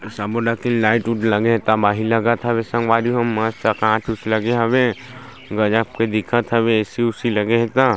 सबो लगथे लाइट उट लगे हे तबाही लगत हे संगवारी हो मस्त कांच ऊंच लगे हवे गज़ब के हवे ए. सी. उसी लगे हे त --